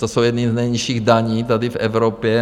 To jsou jedny z nejnižších daní tady v Evropě.